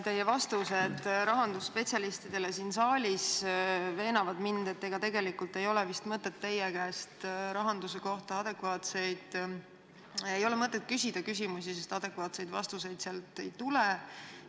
Teie vastused rahandusspetsialistidele siin saalis veenavad mind, et ega tegelikult ei ole vist mõtet teile rahanduse kohta küsimusi esitada, sest adekvaatseid vastuseid ei tule.